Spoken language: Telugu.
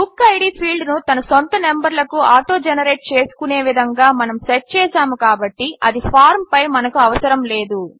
బుక్కిడ్ ఫీల్డ్ను తన సొంత నంబర్లకు ఆటోజెనరేట్ చేసుకునే విధంగా మనము సెట్ చేసాము కాబట్టి అది ఫార్మ్ పై మనకు అవసరము లేదు